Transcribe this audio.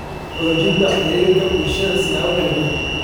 Xoojinta Xiriirka Bulshada siyaabo kala duwan.